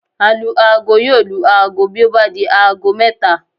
Alu-aago yóò lu aago bí ó bá di aago mẹ́ta